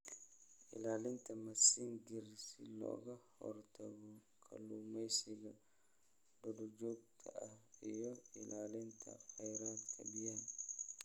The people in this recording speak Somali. Ilaalinta Mazingir Si looga hortago kalluumeysiga duurjoogta ah iyo ilaalinta kheyraadka biyaha.